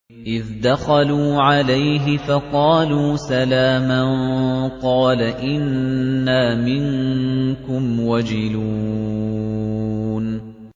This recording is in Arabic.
إِذْ دَخَلُوا عَلَيْهِ فَقَالُوا سَلَامًا قَالَ إِنَّا مِنكُمْ وَجِلُونَ